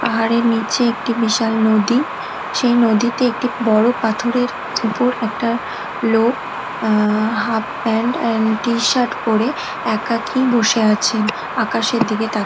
পাহাড়ের নিচে একটি বিশাল নদী। সেই নদীতে একটি বড়ো পাথরের উপর একটা লোক আ-হাফপ্যান্ট এন্ড টি-শার্ট পরে একাকী বসে আছেন। আকাশের দিকে তাকি--